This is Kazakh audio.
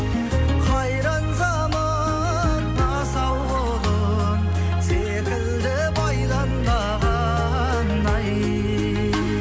қайран заман асау құлын секілді байланбаған ай